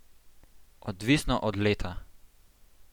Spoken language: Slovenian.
Odvisno od leta.